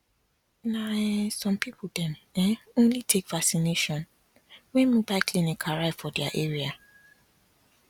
na um some people dem um only take vacination when mobile clinic arrive for their area